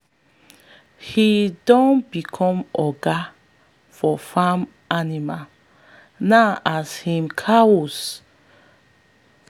she dey dash people animals um and she no proud and people um dey bless her um family name.